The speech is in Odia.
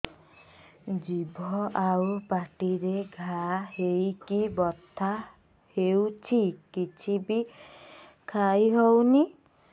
ଜିଭ ଆଉ ପାଟିରେ ଘା ହେଇକି ବଥା ହେଉଛି କିଛି ବି ଖାଇହଉନି